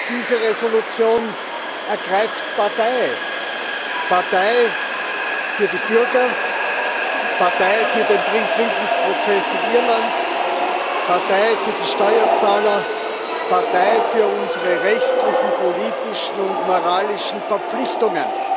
Diese Entschließung ergreift Partei Partei für die Bürger, Partei für den Friedensprozess in Irland, Partei für die Steuerzahler, Partei für unsere rechtlichen, politischen und moralischen Verpflichtungen.